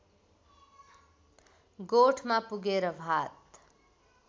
गोठमा पुगेर भात